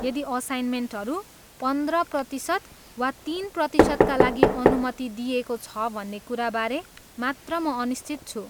यदि असाइनमेन्टहरू पन्द्र प्रतिशत वा तिन प्रतिशतका लागि अनुमति दिइएको छ भन्ने कुराबारे मात्र म अनिश्चित छु।